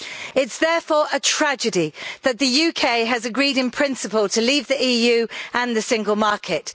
It is therefore a tragedy that the UK has agreed, in principle, to leave the EU and the Single Market.